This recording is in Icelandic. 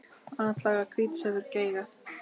Atlaga hvíts hefur geigað.